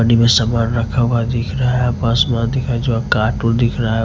पानी में सामान रखा हुआ दिख रहा है जो कार्टून दिख रहा है।